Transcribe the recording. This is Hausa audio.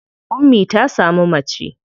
Ummi ta samu mace.